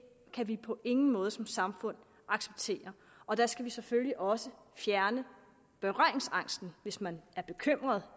kan vi på ingen måde som samfund acceptere og der skal vi selvfølgelig også fjerne berøringsangsten hvis man er bekymret